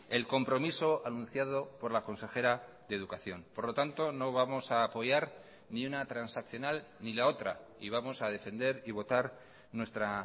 el compromiso anunciado por la consejera de educación por lo tanto no vamos a apoyar ni una transaccional ni la otra y vamos a defender y votar nuestra